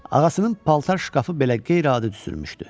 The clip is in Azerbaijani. Ağasının paltar şkafı belə qeyri-adi düzülmüşdü.